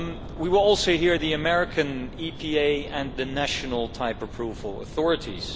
We will also hear the American EPA and the national type approval authorities.